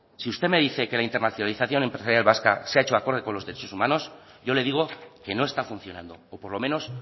si usted me dice que la internalización empresarial vasca se ha hecho acorde con los derechos humanos yo le digo que no está funcionando por lo menos